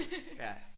Ja